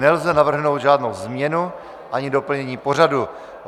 Nelze navrhnout žádnou změnu ani doplnění pořadu.